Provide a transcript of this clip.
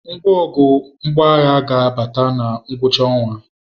Ngwongwo mgbọagha ga-abata na ngwụcha ọnwa.